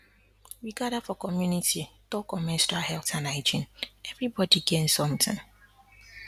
we gather for community talk on menstrual health and hygiene everybody gain something